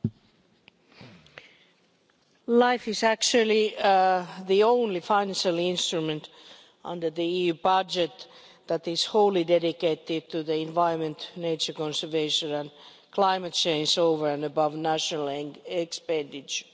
Mr President, LIFE is actually the only financial instrument under the EU budget that is wholly dedicated to the environment, nature conservation and climate change, over and above national expenditure.